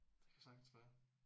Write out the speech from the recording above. Det kan sagtens være